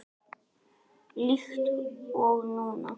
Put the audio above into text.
Líkt og núna.